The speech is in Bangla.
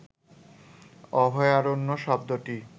অভয়ারণ্য শব্দটি